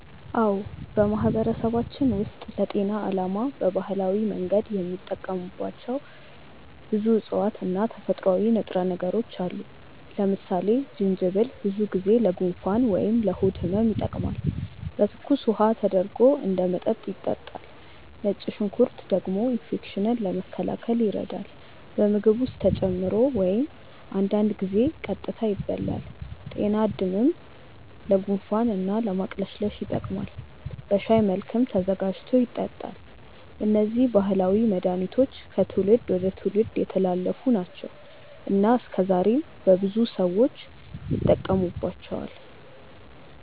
አዎ፣ በማህበረሰባችን ውስጥ ለጤና ዓላማ በባህላዊ መንገድ የሚጠቀሙባቸው ብዙ እፅዋት እና ተፈጥሯዊ ንጥረ ነገሮች አሉ። ለምሳሌ ጅንጅብል ብዙ ጊዜ ለጉንፋን ወይም ለሆድ ህመም ይጠቀማል፤ በትኩስ ውሃ ተደርጎ እንደ መጠጥ ይጠጣል። ነጭ ሽንኩርት ደግሞ ኢንፌክሽንን ለመከላከል ይረዳል፣ በምግብ ውስጥ ተጨምሮ ወይም አንዳንድ ጊዜ ቀጥታ ይበላል። ጤናድምም ለጉንፋን እና ለማቅለሽለሽ ይጠቀማል፤ በሻይ መልክም ተዘጋጅቶ ይጠጣል። እነዚህ ባህላዊ መድሃኒቶች ከትውልድ ወደ ትውልድ የተላለፉ ናቸው እና እስከዛሬም በብዙ ሰዎች ይጠቀሙባቸዋል።